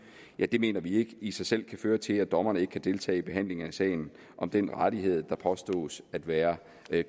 mener vi ikke i sig selv kan føre til at dommeren ikke kan deltage i behandlingen af sagen om den rettighed der påstås at være